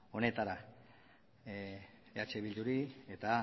honetara eh bilduri eta